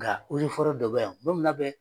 Nka yiri foro dɔ be yan don min n'a bɛ